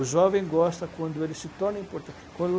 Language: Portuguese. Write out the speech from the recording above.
O jovem gosta quando ele se torna importante. Quando,